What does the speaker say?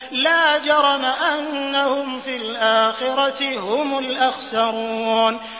لَا جَرَمَ أَنَّهُمْ فِي الْآخِرَةِ هُمُ الْأَخْسَرُونَ